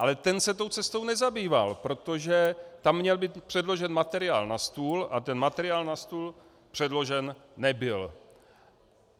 Ale ten se tou cestou nezabýval, protože tam měl být předložen materiál na stůl a ten materiál na stůl předložen nebyl.